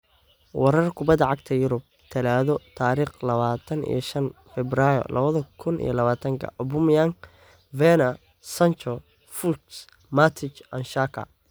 Warar Kubbada Cagta Yurub Talaado tarikh lawatan iyo shan febrai lawadha kun iyo lawatanka: Aubameyang, Werner, Sancho, Fuchs, Matic, Xhaka